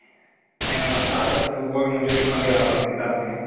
ಏನನ staters ಗೋಬಿ ಮಂಜುರಿ ಪನ್ನೀರ್ಆ ತರ ತಿನ್ತೈರ್ಥಿನಿ .